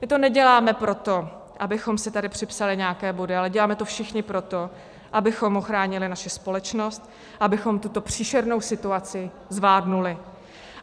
My to neděláme proto, abychom si tady připsali nějaké body, ale děláme to všichni proto, abychom ochránili naši společnost, abychom tuto příšernou situaci zvládli.